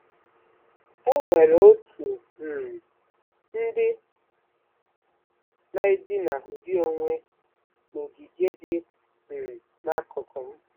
E nwere otu um ndị na-edina ụdị onwe n'ogige dị um n'akụkụ m.